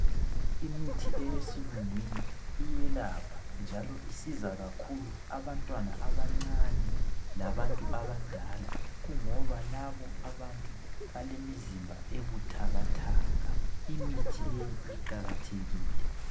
Imithi eyesilungwini iyelapha njalo, isiza kakhulu abantwana abancane labantu abadala kungoba labo balemizimba ebuthakathaka, imithi leyi iqakathekile